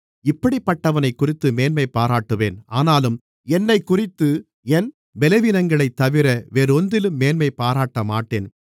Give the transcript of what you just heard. இப்படிப்பட்டவனைக்குறித்து மேன்மைபாராட்டுவேன் ஆனாலும் என்னைக்குறித்து என் பலவீனங்களைத்தவிர வேறொன்றிலும் மேன்மைபாராட்டமாட்டேன்